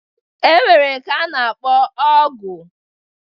E nwere nke a na-akpọ Ọgụ.